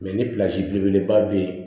ni belebeleba bɛ yen